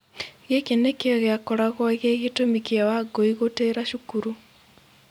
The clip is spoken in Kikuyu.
Gĩkĩ nĩkĩo gĩakoragwo gĩ gĩtũmi kĩa Wangũi gũtĩra cukuru.